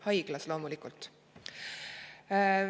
Haiglas, loomulikult.